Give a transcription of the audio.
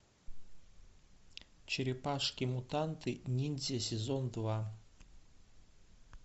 черепашки мутанты ниндзя сезон два